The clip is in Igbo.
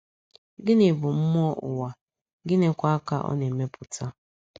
Gịnị bụ mmụọ ụwa, gịnịkwa ka ọ na-emepụta?